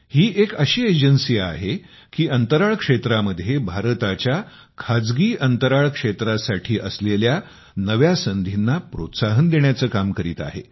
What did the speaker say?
ही एक अशी एजन्सी आहे की अंतराळ क्षेत्रामध्ये भारताच्या खाजगी अंतराळ क्षेत्रासाठी असलेल्या नव्या संधींना प्रोत्साहन देण्याचे काम करीत आहे